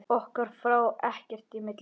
Okkar fór ekkert í milli.